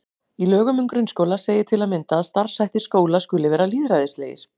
Í lögum um grunnskóla segir til að mynda að starfshættir skóla skuli vera lýðræðislegir.